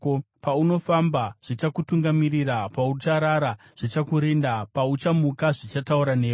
Paunofamba zvichakutungamirira; paucharara, zvichakurinda; pauchamuka, zvichataura newe.